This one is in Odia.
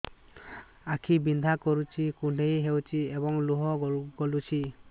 ଆଖି ବିନ୍ଧା କରୁଛି କୁଣ୍ଡେଇ ହେଉଛି ଏବଂ ଲୁହ ଗଳୁଛି